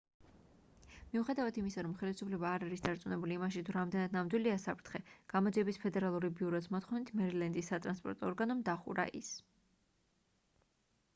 მიუხედავად იმისა რომ ხელისუფლება არ არის დარწმუნებული იმაში თუ რამდენად ნამდვილია საფრთხე გამოძიების ფედერალური ბიუროს მოთხოვნით მერილენდის სატრანსპორტო ორგანომ დახურა ის